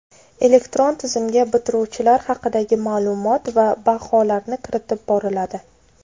Elektron tizimga bitiruvchilar haqidagi ma’lumot va baholarni kiritib boriladi.